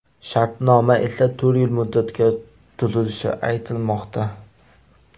Shartnoma esa to‘rt yil muddatga tuzilishi aytilmoqda.